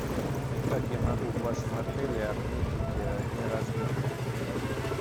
как я могу в вашем отеле отметить день рождения